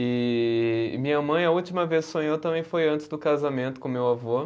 E e minha mãe, a última vez que sonhou também foi antes do casamento com o meu avô.